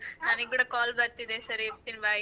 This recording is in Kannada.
ನನಿಗ್ ಕೂಡ call ಬರ್ತಿದೆ ಸರಿ ಇಡ್ತೀನ್ bye .